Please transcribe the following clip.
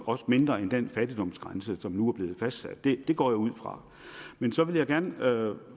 også mindre end den fattigdomsgrænse som nu er blevet fastsat det går jeg ud fra men så vil jeg gerne